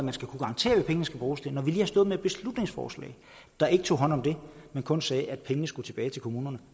vi skal kunne garantere hvad pengene skal bruges til når vi lige har stået med et beslutningsforslag der ikke tog hånd om det men kun sagde at pengene skulle tilbage til kommunerne